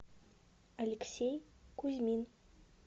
алексей кузьмин